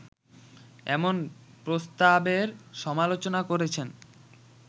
এমন প্রস্তাবের সমালোচনা করেছেন